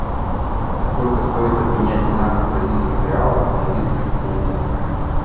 сколько стоит обменять двенадцать бразильских реалов в английских фунтах